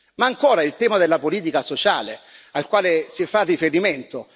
Ma ancora il tema della politica sociale al quale si fa riferimento.